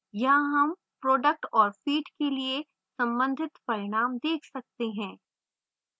यहाँ हम product और feed के लिए सम्बंधित परिणाम देख सकते हैं